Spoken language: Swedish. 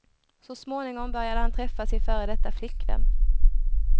Så småningom började han träffa sin före detta flickvän.